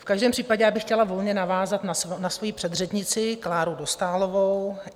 V každém případě bych chtěla volně navázat na svojí předřečnici Kláru Dostálovou.